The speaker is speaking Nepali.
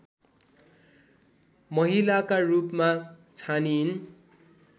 महिलाका रूपमा छानिइन्